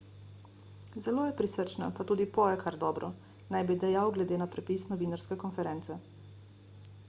zelo je prisrčna pa tudi poje kar dobro naj bi dejal glede na prepis novinarske konference